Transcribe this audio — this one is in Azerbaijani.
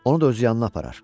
Onu da öz yanına aparar.